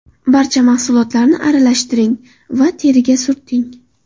Barcha mahsulotlarni aralashtiring va teriga surting.